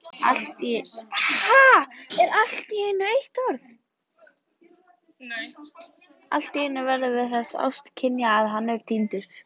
Alltíeinu verðum við þess áskynja að hann er týndur.